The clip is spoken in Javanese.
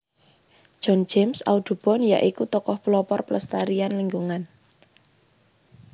John James Audubon ya iku tokoh pelopor pelestarian lingkungan